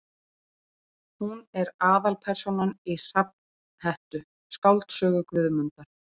Hún er aðalpersónan í Hrafnhettu, skáldsögu Guðmundar